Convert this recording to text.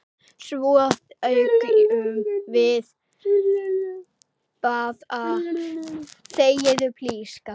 Svo þegjum við báðar lengi.